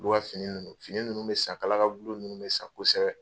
ka fini ninnu fini ninnu bɛ san kala ka gulon ninnu bɛ san kosɛbɛ.